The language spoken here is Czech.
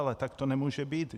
Ale tak to nemůže být.